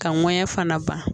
Ka ŋɔɲɛ fana ban